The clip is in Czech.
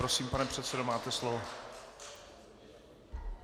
Prosím, pane předsedo, máte slovo.